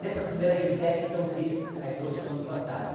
Nessa primeira gibiteca, então, eu fiz a exposição do fantasma.